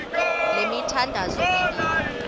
le mithandazo mibini